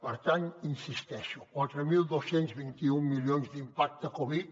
per tant hi insisteixo quatre mil dos cents i vint un milions d’impacte covid